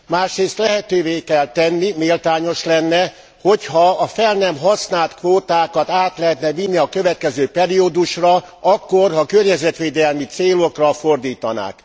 Másrészt lehetővé kell tenni méltányos lenne hogyha a fel nem használt kvótákat át lehetne vinni a következő periódusra akkor, ha környezetvédelmi célokra fordítanák.